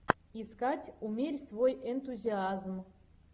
искать умерь свой энтузиазм